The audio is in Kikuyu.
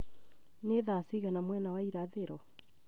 nĩ thaa cigana mwena wa irathĩro